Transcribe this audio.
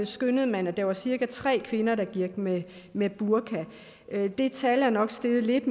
skønnede man at der var cirka tre kvinder der gik med med burka det tal er nok steget lidt